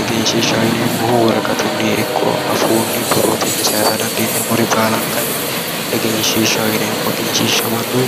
Egenishiishaho yineemohu woraqatunii ikko afuunii borotennii sayisa danidiineemore baalanikkanni egenishiishaho yineemo egenishiisha mannu